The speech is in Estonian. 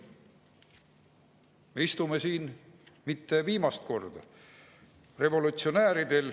Me ei istu siin mitte viimast korda.